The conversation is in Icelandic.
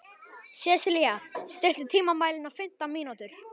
Sesilía, stilltu tímamælinn á fimmtán mínútur.